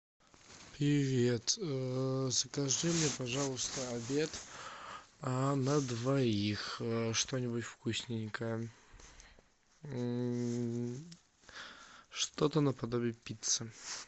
привет закажи мне пожалуйста обед на двоих что нибудь вкусненькое что то наподобие пиццы